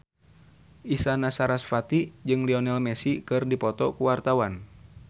Isyana Sarasvati jeung Lionel Messi keur dipoto ku wartawan